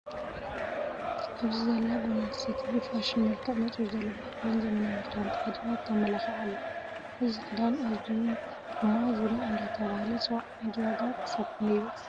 ኣብዚ ዘላ ጓልኣነስተይቲ ብፋሽን መልክዕ መፂኡ ዘሎ ባህላዊ ዘመናዊን ክዳን ተከዲና ተማላኪዓ ኣላ። እዚ ክዳን እዙይ ድማ ዙርያ እንዳተባሃለ ይፅዋዕ። ናይዚ ዋጋ ክሳብ ክንደይ ይበፅሕ?